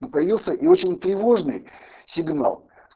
ну появился и очень тревожный сигнал